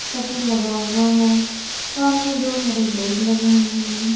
Shutter लगा हुआ है सामने दो हरे बोर्ड लगे हुए हैं।